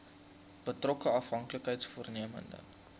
betrokke afhanklikheids vormende